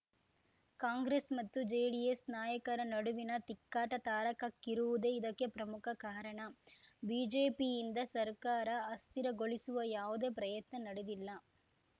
ಕಾಂಗ್ರೆಸ್‌ ಮತ್ತು ಜೆಡಿಎಸ್‌ ನಾಯಕರ ನಡುವಿನ ತಿಕ್ಕಾಟ ತಾರಕಕ್ಕೇರುವುದೇ ಇದಕ್ಕೆ ಪ್ರಮುಖ ಕಾರಣ ಬಿಜೆಪಿಯಿಂದ ಸರ್ಕಾರ ಅಸ್ಥಿರಗೊಳಿಸುವ ಯಾವುದೇ ಪ್ರಯತ್ನ ನಡೆದಿಲ್ಲ